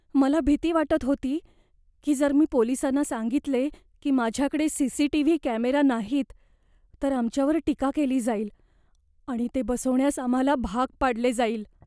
मला भीती वाटत होती की जर मी पोलिसांना सांगितले की माझ्याकडे सी.सी.टी.व्ही. कॅमेरा नाहीत तर आमच्यावर टीका केली जाईल आणि ते बसवण्यास आम्हाला भाग पाडले जाईल.